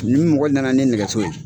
Ni mɔgɔ nana ni nɛgɛso ye.